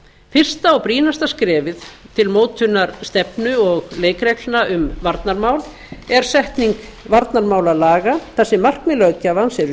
fyrsta og brýnasta skrefið til mótunar stefnu og leikreglna um varnarmál er setning varnarmálalaga þar sem markmið löggjafans eru